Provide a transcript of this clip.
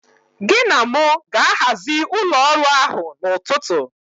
Gị na mụ ga-ahazi ụlọ ọrụ ahụ n'ụtụtụ.